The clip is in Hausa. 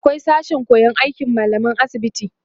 akwai sashen koyan aikin mallaman asibiti